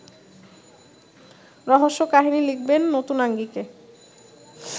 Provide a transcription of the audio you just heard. রহস্যকাহিনী লিখবেন নতুন আঙ্গিকে